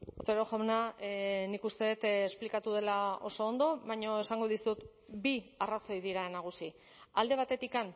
otero jauna nik uste dut esplikatu dela oso ondo baina esango dizut bi arrazoi dira nagusi alde batetik